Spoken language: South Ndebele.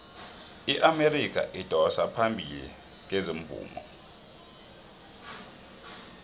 iamerika idosa phambili kezomvumo